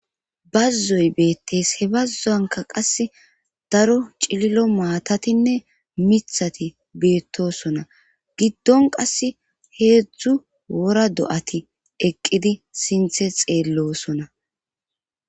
bazzoy beettees he bazzu anka qas daro cililo maatatinne mithati beettosona giddon qas heedzdzu wora do7ati eqqidi sinthe xeellosona